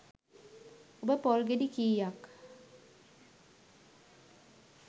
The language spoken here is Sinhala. ඔබ පොල් ගෙඩි කීයක්